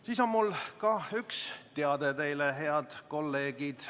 Mul on teile ka üks teade, head kolleegid.